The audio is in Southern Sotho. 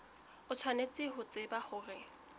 o tshwanetse ho tseba hore